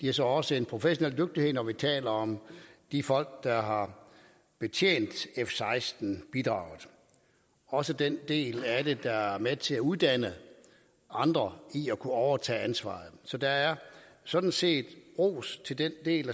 har så også en professionel dygtighed når vi taler om de folk der har betjent f seksten bidraget også den del af det der er med til at uddanne andre i at kunne overtage ansvaret så der er sådan set ros til den del